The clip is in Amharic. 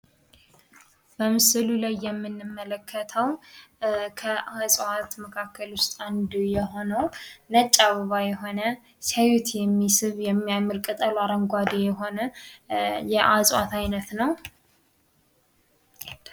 በምስሉ ላይ የምንመለከተው ከእጽዋት መካከል አንዱ የሆነው ነጭ አበባ የሆነ፣ ሲያዩት የሚስብ፣ የሚያምር ቅጠሉ አረንጓዴ የሆነ የእጽዋት አይነት ነው።